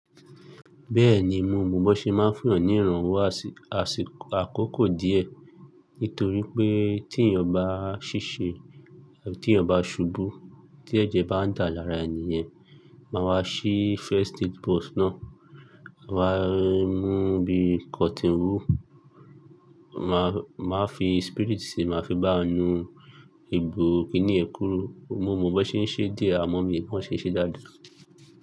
Bẹ́ẹ̀ni mo mọ bó ṣe máa ń fún ọ̀nìranwó àsìkò àkókò díẹ̀, nítorí pé tí èèyàn bá ṣíṣe àbí tí èèyàn bá ṣubú, tí ẹ̀jẹ̀ bá ń dà lára ènìyàn, máa wá ṣí first aid box náà, máa wá mú bí cotton wool, máa fi spirit sí i, máa fi bá nu egbò, kí níè kúrú. Mo mọ bó ṣe ń ṣe díẹ̀, àmọ́ mi ò mọ bo se ń ṣe dáadáa.